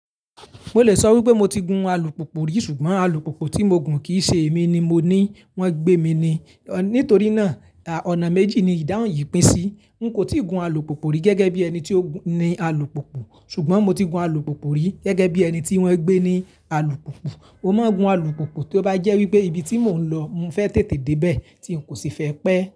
Mo lè sọ wí pé mo ti gun alùpùpù rí ṣùgbọ́n alùpùpù tí mo gùn kìí ṣe èmi ni mo ní wón gbé mi ni. Nítorí náà ọ̀nà méjì ni ìdáhùn yìí pín sí. N kò tíì gun alùpùpù rí gẹ́gẹ́ bí ẹni tí ó ni alùpùpù ṣùgbọ́n mo ti gun alùpùpù rí gẹ́gẹ́ bí ẹni tí wọ́n gbé ní alùpùpù. Mo máa gun alùpùpù tí ó bá jẹ́ wí pé ibi tí mò ń lọ mo fẹ́ tètè dé bẹ́ẹ̀ tí ń kò sì fẹ́ pẹ́